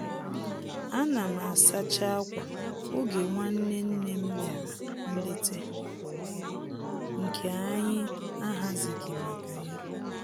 Ana m asacha akwà oge nwanne nne m bịara nlete nke anyị ahazighị maka ya